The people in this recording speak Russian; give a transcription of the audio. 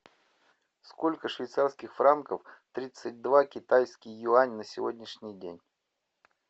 сколько швейцарских франков тридцать два китайский юань на сегодняшний день